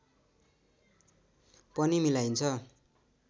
पनि मिलाइन्छ